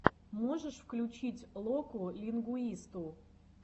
можешь включить локу лингуисту